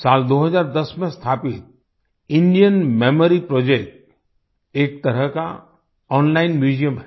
साल 2010 में स्थापित इंडियन मेमोरी प्रोजेक्ट एक तरह का ओनलाइन म्यूजियम है